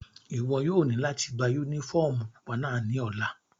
Iwọ yóò ni lati gba unifọmú pupa náa ni ọla!